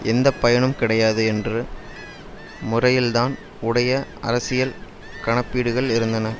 எந்த பயனும் கிடையாது என்று முறையில் தான் உடைய அரசியல் கணப்பீடுகள் இருந்தன